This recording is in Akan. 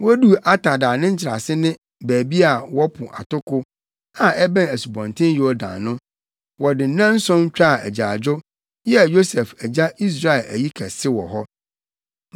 Woduu Atad a ne nkyerɛase ne baabi a wɔpo atoko, a ɛbɛn Asubɔnten Yordan no, wɔde nnanson twaa agyaadwo, yɛɛ Yosef agya Israel ayi kɛse wɔ hɔ.